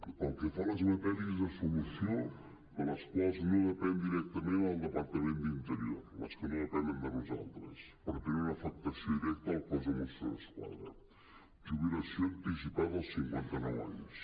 pel que fa a les matèries la solució de les quals no depèn directament del depar·tament d’interior les que no depenen de nosaltres però tenen una afectació directa al cos de mossos d’esquadra jubilació anticipada als cinquanta·nou anys